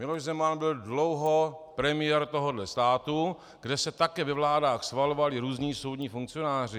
Miloš Zeman byl dlouho premiér tohohle státu, kde se také ve vládách schvalovali různí soudní funkcionáři.